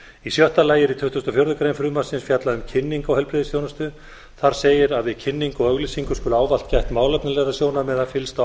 í sjöunda lagi er í tuttugasta og fjórðu grein frumvarpsins fjallað um kynningu á heilbrigðisþjónustu þar segir að við kynningu og auglýsingu skuli ávallt gæta málefnalegra sjónarmiða fyllstu